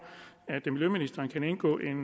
at miljøministeren kan indgå en